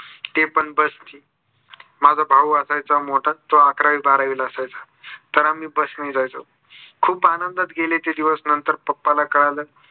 ते पण bus ने माझा भाऊ असायचा मोठा तो अकरावी बारावीला असायचा. तर आम्ही bus नी जायचो. खूप आनंदात गेले ते दिवस नंतर papa ना कळाल.